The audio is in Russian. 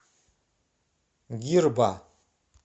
гирба